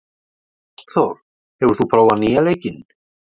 Ástþór, hefur þú prófað nýja leikinn?